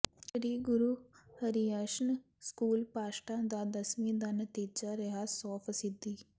ਸ੍ਰੀ ਗੁਰੂ ਹਰਿਯਸ਼ਨ ਸਕੂਲ ਪਾਂਸ਼ਟਾ ਦਾ ਦਸਵੀਂ ਦਾ ਨਤੀਜਾ ਰਿਹਾ ਸੌ ਫ਼ੀਸਦੀ